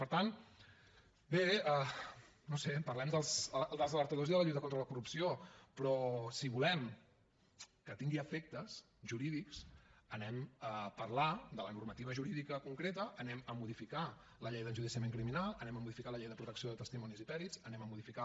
per tant bé no ho sé parlem dels alertadors i de la lluita contra la corrupció però si volem que tingui efectes jurídics anem a parlar de la normativa jurídica concreta anem a modificar la llei d’enjudiciament criminal anem a modificar la llei de protecció de testimonis i pèrits anem a modificar